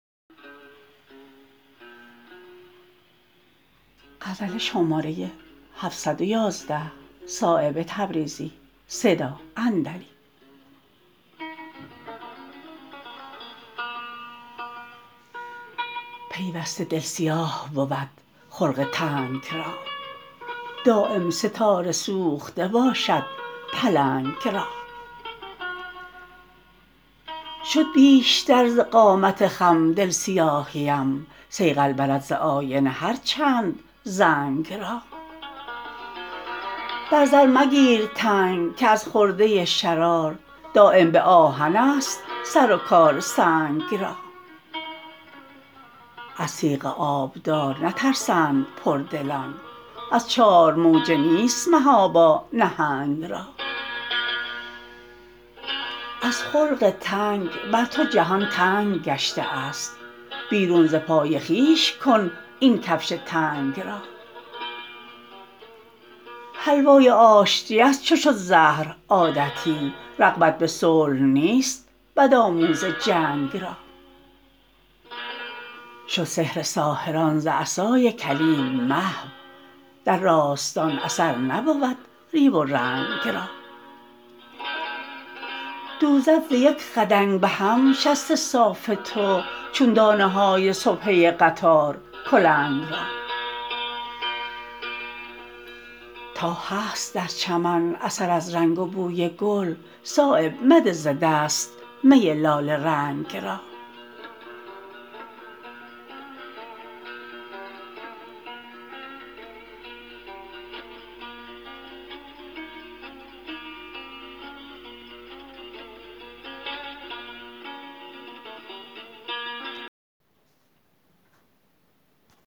پیوسته دل سیاه بود خلق تنگ را دایم ستاره سوخته باشد پلنگ را شد بیشتر ز قامت خم دل سیاهیم صیقل برد ز آینه هر چند زنگ را بر زر مگیر تنگ که از خرده شرار دایم به آهن است سر و کار سنگ را از تیغ آبدار نترسند پردلان از چار موجه نیست محابا نهنگ را از خلق تنگ بر تو جهان تنگ گشته است بیرون ز پای خویش کن این کفش تنگ را حلوای آشتی است چو شد زهر عادتی رغبت به صلح نیست بدآموز جنگ را شد سحر ساحران ز عصای کلیم محو در راستان اثر نبود ریو و رنگ را دوزد ز یک خدنگ به هم شست صاف تو چون دانه های سبحه قطار کلنگ را تا هست در چمن اثر از رنگ و بوی گل صایب مده ز دست می لاله رنگ را